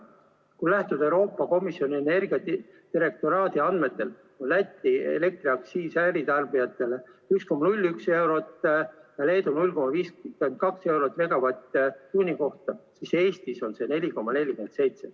Kui lähtuda Euroopa Komisjoni energiadirektoraadi andmetest, on Läti elektriaktsiis äritarbijatele 1,01 eurot, Leedus 0,52 eurot megavatt-tunni kohta, siis Eestis on see 4,47.